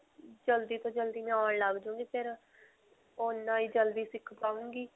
ਜਲਦੀ ਤੋਂ ਜਲਦੀ ਮੈਂ ਆਉਣ ਲੱਗ ਜਾਊਂਗੀ ਫਿਰ ਉਨ੍ਨਾ ਹੀ ਜਲਦੀ ਸਿਖ ਪਾਊਂਗੀ.